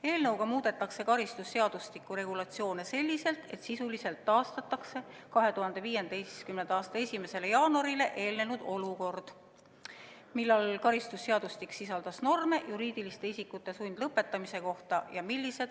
Eelnõu kohaselt muudetakse karistusseadustiku regulatsioone selliselt, et sisuliselt taastatakse 2015. aasta 1. jaanuarile eelnenud olukord, kui karistusseadustik sisaldas norme juriidiliste isikute sundlõpetamise kohta.